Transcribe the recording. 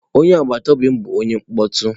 Onye agbata obi m bụ onye mkpọtụ.